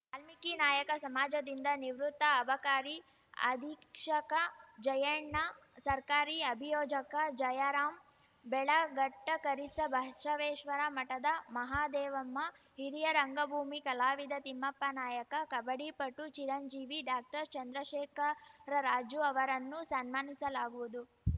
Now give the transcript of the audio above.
ವಾಲ್ಮೀಕಿ ನಾಯಕ ಸಮಾಜದಿಂದ ನಿವೃತ್ತ ಅಬಕಾರಿ ಅಧೀಕ್ಷಕ ಜಯಣ್ಣ ಸರ್ಕಾರಿ ಅಭಿಯೋಜಕ ಜಯರಾಂ ಬೆಳಗಟ್ಟಕರಿಸಬಸವೇಶ್ವರ ಮಠದ ಮಹದೇವಮ್ಮ ಹಿರಿಯ ರಂಗಭೂಮಿ ಕಲಾವಿದ ತಿಮ್ಮಪ್ಪನಾಯಕ ಕಬಡ್ಡಿ ಪಟು ಚಿರಂಜೀವಿ ಡಾಕ್ಟರ್ ಚಂದ್ರಶೇಖರರಾಜು ಅವರನ್ನು ಸನ್ಮಾನಿಸಲಾಗುವುದು